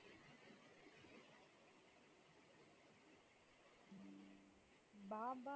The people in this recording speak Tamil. பாபா